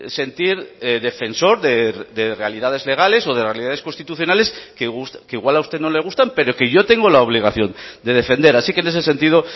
sentir defensor de realidades legales o de realidades constitucionales que igual a usted no le gustan pero que yo tengo la obligación de defender así que en ese sentido